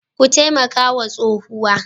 Ku taimaka wa tsohuwar.